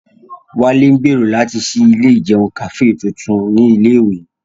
Wálé ń gbèrò láti ṣí ilé ìjẹun Kàfé tuntun ní ilé ìwé